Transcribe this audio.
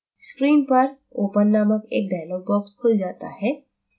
screen पर open named एक dialog box खुल जाता है